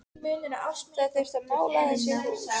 Það þyrfti að mála þessi hús